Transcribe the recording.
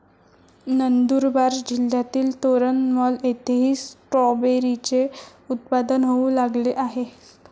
नंदुरबार जिल्हातील तोरणमल येथेही स्ट्रॉबेरीचे उत्पादन होऊ लागले आहे.